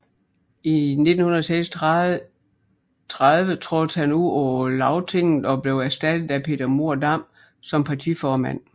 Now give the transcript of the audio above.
I 1936 trådte han ud av Lagtinget og blev erstattet af Peter Mohr Dam som partiformand